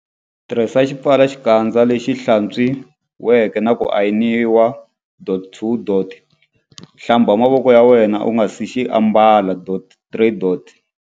Tirhisa xipfalaxikandza lexi hlatswiweke na ku ayiniwa. 2. Hlamba mavoko ya wena u nga si xi ambala.3.